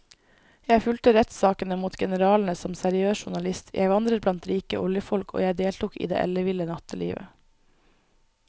Jeg fulgte rettssakene mot generalene som seriøs journalist, jeg vandret blant rike oljefolk og jeg deltok i det elleville nattelivet.